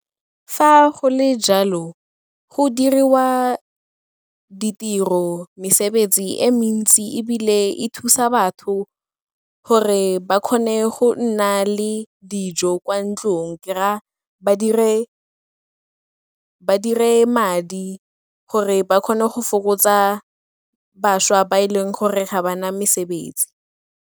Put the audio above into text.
Fa go le jalo, go diriwa ditiro, mesebetsi e mentsi ebile e thusa batho gore ba kgone go nna le dijo kwa ntlong, ke raya ba dire madi gore ba kgone go fokotsa bašwa ba e leng gore ga ba na mesebetsi.